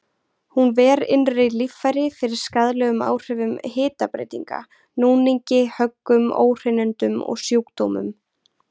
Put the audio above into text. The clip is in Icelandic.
Hún ver innri líffæri fyrir skaðlegum áhrifum hitabreytinga, núningi, höggum, óhreinindum og sjúkdómum.